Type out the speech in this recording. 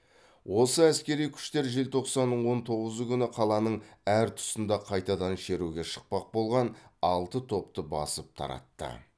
осы әскери күштер желтоқсанның он тоғызы күні қаланың әр тұсында қайтадан шеруге шықпақ болған алты топты басып таратты